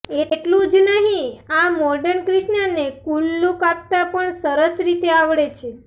એટલું જ નહીં આ મોર્ડન કિષ્નાને કૂલ લૂક આપતા પણ સરસ રીતે આવડે છે